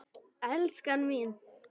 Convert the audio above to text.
Elskan mín.